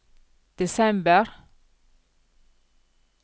desember